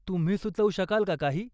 तुम्ही सुचवू शकाल का काही?